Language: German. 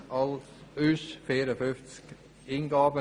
Es gab 54 Eingaben.